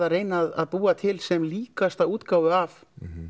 reyna búa til sem líkasta útgáfu af